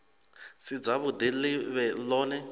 si dzavhuḓi ḽi vhe ḽone